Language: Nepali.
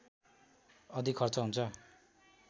अधिक खर्च हुन्छ